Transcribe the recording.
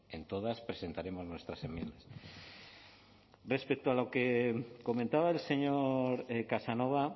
en todas presentaremos nuestras enmiendas respecto a lo que comentaba el señor casanova